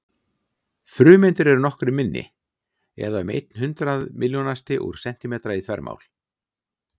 Frumeindir eru nokkru minni, eða um einn hundrað milljónasti úr sentímetra í þvermál.